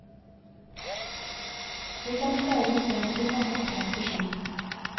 Vi kan speide oss frem til mange tegn på slikt.